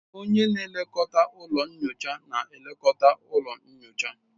Onye na-elekọta ụlọ nyocha na-elekọta ụlọ nyocha